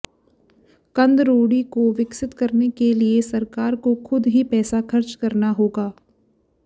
कंदरोड़ी को विकसित करने के लिए सरकार को खुद ही पैसा खर्च करना होगा